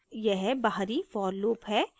यह बाहरी for loop है